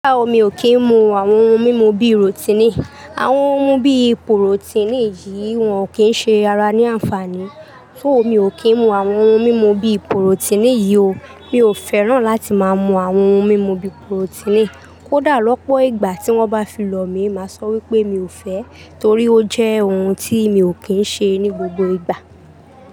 Rárá o, mi ò kí ń mu àwọn ohun mímu bí i ròtìnì. Àwọn ohun bí i pùròtínì yìí wọ́n ò kí ń ṣe ara ní àǹfààní. Tó, mi ò kí ń mu àwọn ohun mímu bí i pùròtínì yìí o. Mi ò fẹ́ràn láti máa mu àwọn ohun mímu bí i pùròtínì. Kódà lọ́pọ̀ ìgbà tí wọ́n bá fi lọ̀ mí, màá sọ wípé mi ò fẹ́, torí ó jẹ́ ohun tí mi ò kí ń ṣe ní gbogbo ìgbà.